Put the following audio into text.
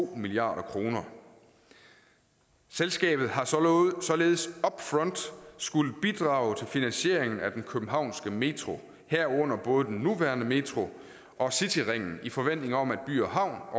milliard kroner selskabet har således upfront skullet bidrage til finansieringen af den københavnske metro herunder både den nuværende metro og cityringen i forventning om at by havn